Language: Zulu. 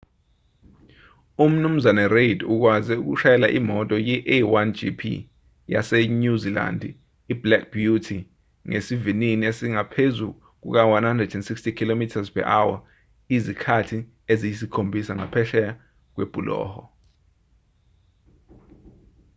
umnu reid ukwaze ukushayela imoto ye-a1gp yasenyuzilandi iblack beauty ngesivinini esingaphezu kuka-160km/h izikhathi eziyisikhombisa ngaphesheya kwebhuloho